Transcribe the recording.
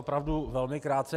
Opravdu velmi krátce.